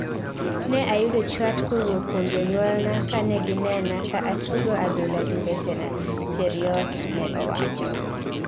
ne ayudo chwat kowuok kuom jonyuolna kaneginena ka tugo adhula gi mbesena, Cheruiyot ne Owacho